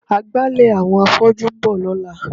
Agbálẹ̀ àwọn afọ́jú ń bọ̀ lọ́la.